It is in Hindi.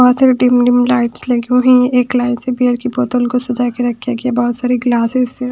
बहुत सारे डिम डिम लाइट्स लगी हुई है एक लाइन से बियर की बोतल को सजा के रखा गया बहुत सारे ग्लासेस से--